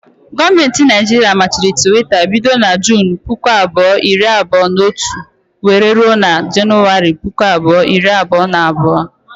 Gọọmenti Naijiria machiri Twitter bido na Junu puku abụọ, iri abụọ na otu wéré rụọ na januwari, puku abụọ iri abụọ na abụọ